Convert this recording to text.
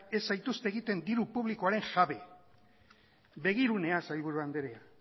ez zaituzte egiten diru publikoaren jabe begirunea sailburu andrea